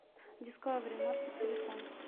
дискавери маркет телефон